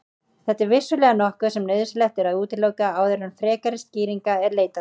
Þetta er vissulega nokkuð sem nauðsynlegt er að útiloka áður en frekari skýringa er leitað.